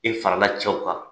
E farala cɛw kan.